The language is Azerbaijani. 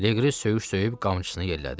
Leqri söyüş söyüb qamçısını yellədi.